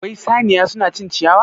Wai saniya suna cin ciyawa?